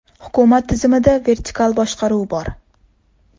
Hukumat tizimida vertikal boshqaruv bor.